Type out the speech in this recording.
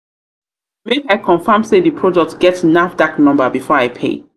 make i confirm sey di product get nafdac number before nafdac number before i pay.